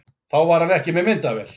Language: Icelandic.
Þá var hann ekki með myndavél